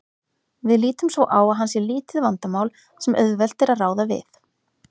Við lítum svo á að hann sé lítið vandamál sem auðvelt er að ráða við.